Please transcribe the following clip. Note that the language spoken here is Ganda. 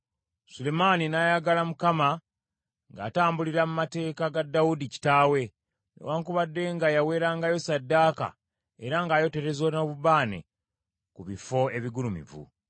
Sulemaani n’ayagala Mukama , ng’atambulira mu mateeka ga Dawudi kitaawe, newaakubadde nga yaweerangayo ssaddaaka era ng’ayotereza n’obubaane ku bifo ebigulumivu.